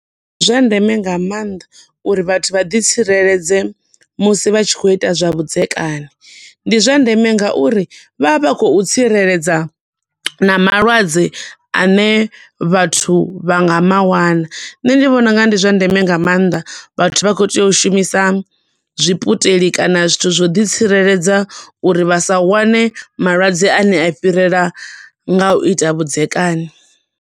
Zwa ndeme nga maanḓa uri vhathu vha ḓi tsireledze musi vha tshi khou ita zwa vhudzekani. Ndi zwa ndeme nga uri vha vha vha khou tsireledza na malwadze ane vhathu vha nga mawana. Nṋe ndi vhona unga ndi zwa ndeme nga maanḓa vhathu vha khou tea u shumisa zwiputeli kana zwithu zwo ḓi tsireledza uri vha sa wane malwadze ane a fhirela nga u ita vhudzekani.